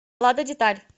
лада деталь